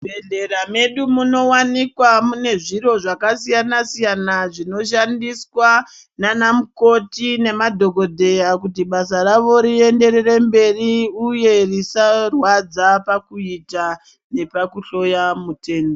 Muzvibhedhlera medu munowanika mune zviro zvakasiyana-siyana zvinoshandiswa naana mukoti nemadhokodheya kuti basa ravo rienderere mberi, uye risarwadza pakuita nepakuhloya mutenda.